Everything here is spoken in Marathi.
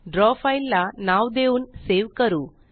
द्रव फ़ाइल ला नाव देऊन सेव करू